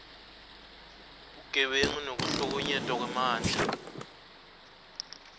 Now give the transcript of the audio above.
bebugebengu nekuhlukunyetwa kwemandla